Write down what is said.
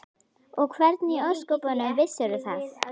Og hvernig í ósköpunum vissirðu það?